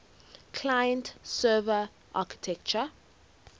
client server architecture